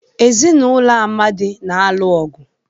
Ezinụlọ Amadi na-alụ ọgụ.